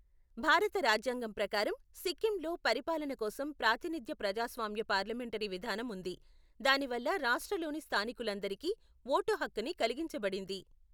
భారత రాజ్యాంగం ప్రకారం, సిక్కింలో పరిపాలన కోసం ప్రాతినిధ్య ప్రజాస్వామ్య పార్లమెంటరీ విధానం ఉంది, దానివల్ల రాష్ట్రలోని స్థానీకులందరికీ వోటు హక్కుని కలిగించబడింది.